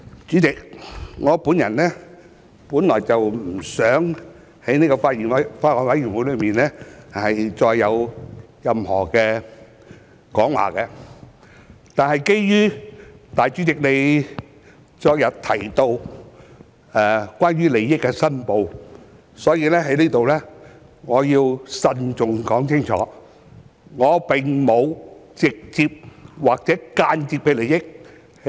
主席，我本來不想就法案委員會再作任何發言，但基於主席昨天提到利益申報，故此我要在此慎重地清楚說明，我就《條例草案》並無直接或間接利益。